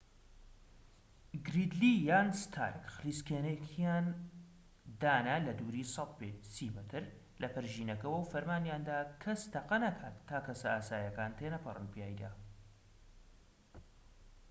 گریدلی یان ستارک خلیسکێنەیەکیان دانا لە دووری ١٠٠ پێ ٣٠ مەتر لە پەرژینەکەوە و فەرمانیاندا کەس تەقە نەکات تا کەسە ئاساییەکان تێنەپەڕن پیایدا